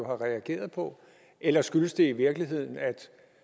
reageret på eller skyldes det i virkeligheden at